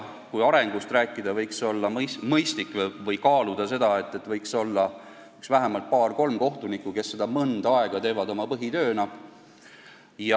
Kui arengust rääkida, siis mulle tundub, et võiks kaaluda seda, et võiks olla vähemalt paar-kolm kohtunikku, kes seda mõnda aega teevad oma põhitööna.